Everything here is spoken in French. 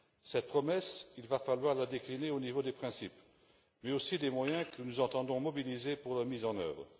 Cette promesse, il va falloir la décliner au niveau des principes, mais aussi des moyens que nous entendons mobiliser pour la mise en œuvre.